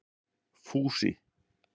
Fúsi